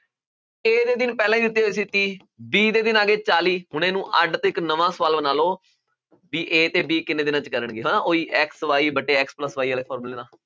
a ਦੇ ਦਿਨ ਪਹਿਲਾਂ ਹੀ ਦਿੱਤੇ ਹੋਏ ਸੀ ਤੀਹ b ਦੇ ਦਿਨ ਆ ਗਏ ਚਾਲੀ ਹੁਣ ਇਹਨੂੰ ਅੱਢ ਤੇ ਇੱਕ ਨਵਾਂ ਸਵਾਲ ਬਣਾ ਲਓ ਵੀ a ਤੇ b ਕਿੰਨੇ ਦਿਨਾਂ 'ਚ ਕਰਨਗੇ ਹਨਾ ਉਹੀ x, y ਵੱਟੇ x plus y ਵਾਲੇ ਫਾਰਮੂਲੇ ਨਾਲ।